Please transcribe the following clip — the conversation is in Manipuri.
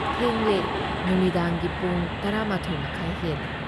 ꯊꯦꯡꯂꯦ꯫ ꯅꯨꯃꯤꯗꯥꯡꯒꯤ ꯄꯨꯡ ꯱꯱.꯳꯰ ꯍꯦꯜꯂꯦ ꯫